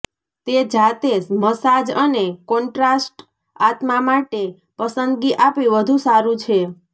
તે જાતે મસાજ અને કોન્ટ્રાસ્ટ આત્મા માટે પસંદગી આપી વધુ સારું છે